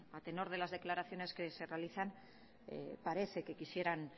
a tenor de las declaraciones que se realizan parece que quisieran